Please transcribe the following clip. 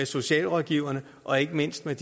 socialrådgiverforening og ikke mindst med